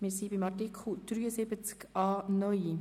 Wir sind bei Artikel 73a neu.